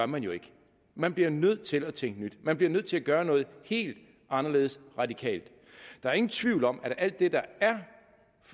man jo ikke man bliver nødt til at tænke nyt man bliver nødt til at gøre noget helt anderledes radikalt der er ingen tvivl om at alt det der er